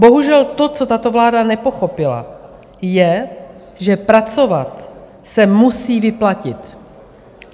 Bohužel to, co tato vláda nepochopila, je, že pracovat se musí vyplatit.